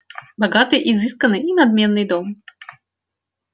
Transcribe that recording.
богатый изысканный и надменный дом